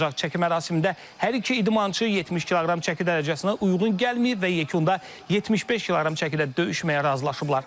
Çəki mərasimində hər iki idmançı 70 kq çəki dərəcəsinə uyğun gəlməyib və yekunda 75 kq çəkidə döyüşməyə razılaşıblar.